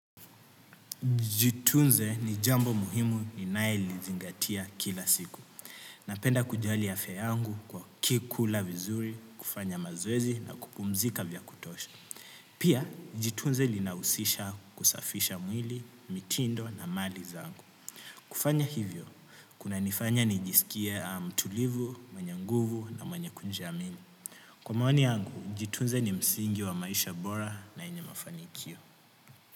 Jitunze ni jambo muhimu ninae lizingatia kila siku. Napenda kujali afya yangu kwa kikula vizuri, kufanya mazwezi na kupumzika vya kutosha. Pia, jitunze linausisha kusafisha mwili, mitindo na mali zangu. Kufanya hivyo, kuna nifanya nijisikia mtulivu, mwenye nguvu na mwanyekunji amini. Kwa maoni yangu, jitunze ni msingi wa maisha bora na yenye mafanikio.